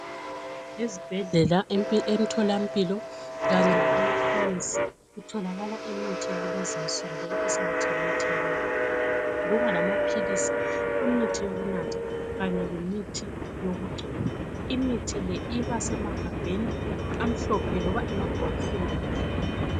Ezibhedlela, emtholampilo kanye lakumakhemesi kutholakala imithi yakulezi insuku loba esingathi yimithi yabelungu. Kuba lamaphilisi, imithi yokunatha kanye lemithi yokugcoba. Imithi le iba semagabheni amhlophe loba emabhokisini amhlophe.